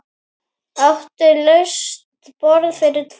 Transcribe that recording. Áttu laust borð fyrir tvo?